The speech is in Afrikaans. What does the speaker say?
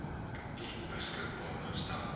u beskikbaar gestel